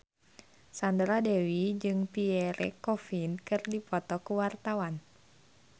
Sandra Dewi jeung Pierre Coffin keur dipoto ku wartawan